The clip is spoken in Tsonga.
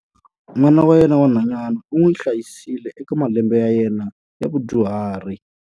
N'wana wa yena wa nhwanyana u n'wi hlayisile eka malembe ya yena ya vudyuhari.